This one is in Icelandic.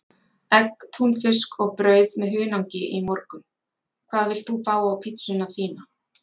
Egg, túnfisk og brauð með hunangi í morgun Hvað vilt þú fá á pizzuna þína?